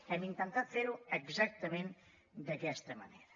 hem intentat fer ho exactament d’aquesta manera